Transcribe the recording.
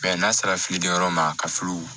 n'a sera filiden yɔrɔ ma ka fili